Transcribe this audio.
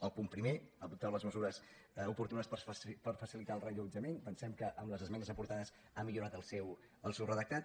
el punt primer adoptar les mesures oportunes per facilitar el reallotjament pensem que amb les esmenes aportades ha millorat el seu redactat